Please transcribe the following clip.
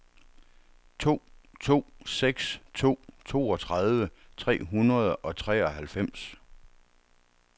to to seks to toogtredive tre hundrede og treoghalvfems